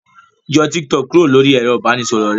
Yọ Tik Tok kúrò lóri ẹ̀rọ ìbánisọ̀rọ̀ rẹ.